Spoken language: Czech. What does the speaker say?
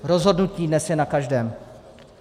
Rozhodnutí dnes je na každém.